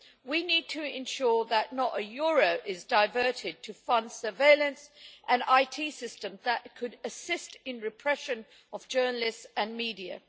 We need to ensure that not a euro is diverted to fund surveillance and IT systems that could assist in repression of journalists and media.